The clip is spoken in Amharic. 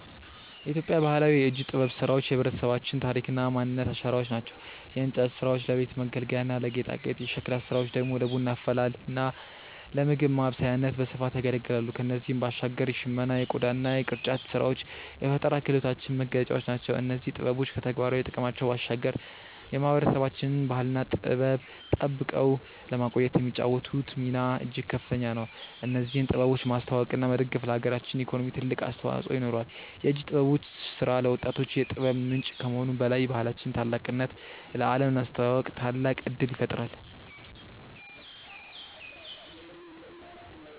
የኢትዮጵያ ባህላዊ የእጅ ጥበብ ስራዎች የህብረተሰባችን ታሪክና ማንነት አሻራዎች ናቸው። የእንጨት ስራዎች ለቤት መገልገያና ለጌጣጌጥ፣ የሸክላ ስራዎች ደግሞ ለቡና አፈላልና ለምግብ ማብሰያነት በስፋት ያገለግላሉ። ከእነዚህም ባሻገር የሽመና የቆዳና የቅርጫት ስራዎች የፈጠራ ክህሎታችን መገለጫዎች ናቸው። እነዚህ ጥበቦች ከተግባራዊ ጥቅማቸው ባሻገር የማህበረሰባችንን ባህልና ጥበብ ጠብቀው ለማቆየት የሚጫወቱት ሚና እጅግ ከፍተኛ ነው። እነዚህን ጥበቦች ማስተዋወቅና መደገፍ ለሀገራችን ኢኮኖሚ ትልቅ አስተዋጽኦ ይኖረዋል። የእጅ ጥበበኞች ስራ ለወጣቶች የጥበብ ምንጭ ከመሆኑም በላይ የባህላችንን ታላቅነት ለአለም ለማስተዋወቅ ታላቅ እድል ይፈጥራል።